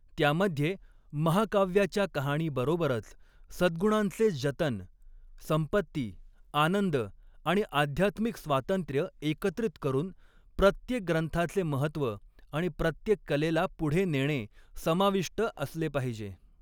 त्यामध्ये, महाकाव्याच्या कहाणीबरोबरच सद्गुणांचे जतन, संपत्ती, आनंद आणि आध्यात्मिक स्वातंत्र्य एकत्रित करून, प्रत्येक ग्रंथाचे महत्त्व आणि प्रत्येक कलेला पुढे नेणे समाविष्ट असले पाहिजे.